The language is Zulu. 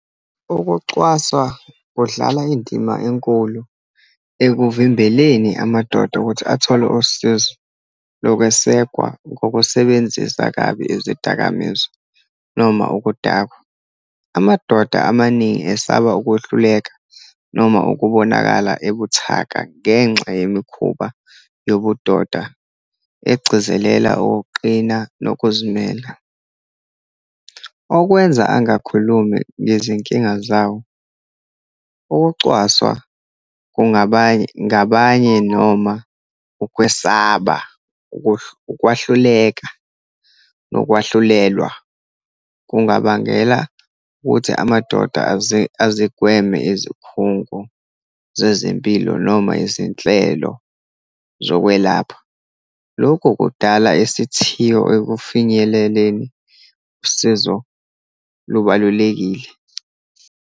Ukuxwaswa kudlala indima enkulu ekuvimbeleni amadoda ukuthi athole usizo lokwesekwa ngokusebenzisa kabi izidakamizwa, noma ukudakwa. Amadoda amaningi esaba ukuhluleka, noma ukubonakala ebuthaka ngenxa yemikhuba yobudoda egcizelela okuqina nokuzimela, okwenza angakhulumi ngezinkinga zawo. Ukucwaswa kungaba, ngabanye, noma ukwesaba, ukwahluleka, nokwahlulelwa, kungabangela ukuthi amadoda azigweme izikhungo zezempilo, noma izinhlelo zokwelapha. Lokhu kudala isithiyo ekufinyeleleni usizo lubalulekile.